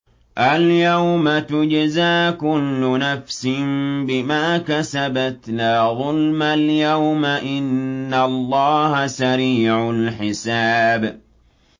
الْيَوْمَ تُجْزَىٰ كُلُّ نَفْسٍ بِمَا كَسَبَتْ ۚ لَا ظُلْمَ الْيَوْمَ ۚ إِنَّ اللَّهَ سَرِيعُ الْحِسَابِ